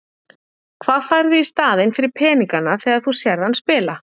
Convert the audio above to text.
Hvað færðu í staðinn fyrir peningana þegar þú sérð hann spila?